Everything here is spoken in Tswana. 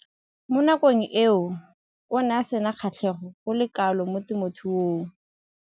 Mo nakong eo o ne a sena kgatlhego go le kalo mo temothuong.